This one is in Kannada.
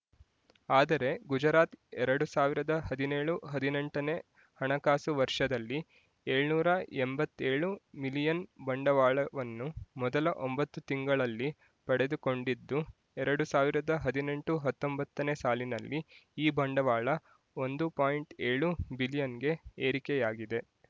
ಆದರೆ ಗುಜರಾತ್ ಎರಡು ಸಾವಿರದ ಹದಿನೇಳು ಹದಿನೆಂಟನೇ ಹಣಕಾಸು ವರ್ಷದಲ್ಲಿ ಏಳುನೂರ ಎಂಬತ್ತೇಳು ಮಿಲಿಯನ್ ಬಂಡವಾಳವನ್ನು ಮೊದಲ ಒಂಬತ್ತು ತಿಂಗಳಲ್ಲಿ ಪಡೆದುಕೊಂಡಿದ್ದು ಎರಡು ಸಾವಿರದ ಹದಿನೆಂಟು ಹತ್ತೊಂಬತ್ತನೇ ಸಾಲಿನಲ್ಲಿ ಈ ಬಂಡವಾಳ ಒಂದು ಪಾಯಿಂಟ್ ಏಳು ಬಿಲಿಯನ್‌ಗೆ ಏರಿಕೆಯಾಗಿದೆ